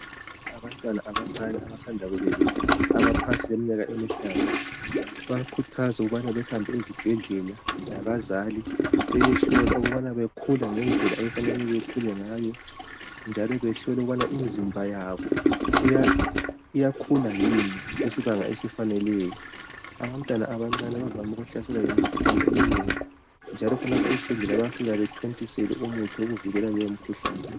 Abantwana abancane abasanda kubelethwa abaleminyaka engaphansi kwemihlanu bayakhuthazwa ukubana bahambe ezibhedlela labazali beyehlolwa ukubana bakhula ngendlela okumele bakhule ngayo njalo behlolwe ukubana imizimba yabo iyakhula yini kusibanga esifaneleyo abantwana abancane bavame ukuhlaselwa yimikhuhlane eminengi njalo khonapha esibhedlela bayafika bethontiselwe umuthi wokuvikela leyo mikhuhlane.